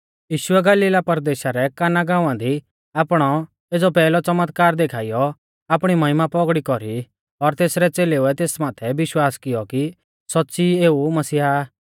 यीशुऐ गलीला परदेशा रै काना गाँवा दी आपणौ एज़ौ पैहलौ च़मतकार देखाइयौ आपणी महिमा पौगड़ौ कौरी और तेसरै च़ेलेउऐ तेस माथै विश्वास कियौ कि सौच़्च़ी एऊ मसीहा आ